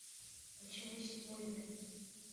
почему сегодня